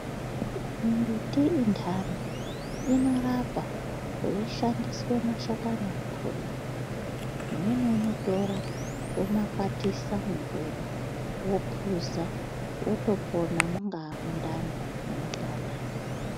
Mimbiti indani inorapa kweishandiswe mashakani akona. Umweni unotora omakwatisa mumvura opuza otopona mungaa mundani munopanda.